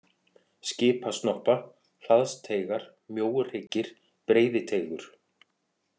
Skipasnoppa, Hlaðsteigar, Mjóuhryggir, Breiðiteigur